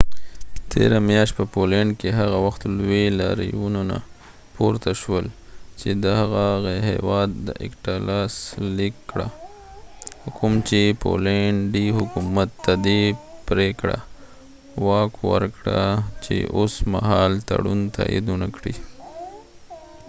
تیره میاشت په پولينډ کي هغه وخت لوي لاریونونه پورته شول چي دغه هيواد اکټا لاس ليک کړه کوم چي پولينډي حکومت ته دي پریکړه واک ورکړه چي اوس مهال تړون تايد ونکړي